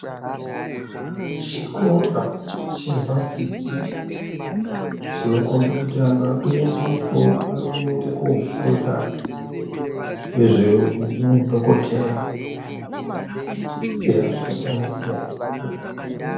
Chikora chevasiti chinokombe kuti antu votoendepo varikuenda kunofunda nezvehudhokodheya eya zvakasiyana siyanapo.